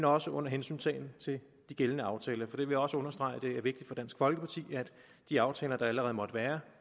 også under hensyntagen til de gældende aftaler for jeg vil også understrege at det er vigtigt for dansk folkeparti at de aftaler der allerede måtte være